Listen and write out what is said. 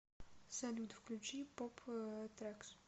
салют включи поп трэкс